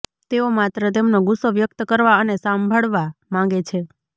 તેઓ માત્ર તેમનો ગુસ્સો વ્યક્ત કરવા અને સાંભળવા માંગે છે